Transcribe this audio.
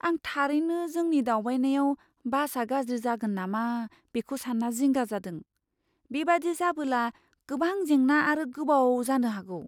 आं थारैनो जोंनि दावबायनायाव बासआ गाज्रि जागोन नामा बेखौ सान्ना जिंगा जादों, बेबादि जाबोला गोबां जेंना आरो गोबाव जानो हागौ।